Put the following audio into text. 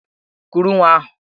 Kuru nwa ahụ!